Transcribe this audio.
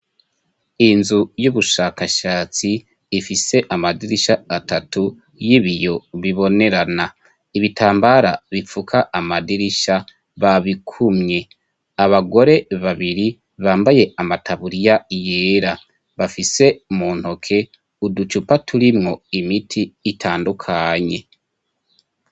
Inzu y'ubushakashatsi ifise amadirisha atatu y'ibiyo bibonerana ibitambara bipfuka amadirisha babikumye abagore babiri bambaye amataburiya yera bafise mu ntoke uducupa turimwo imiti itandukanye.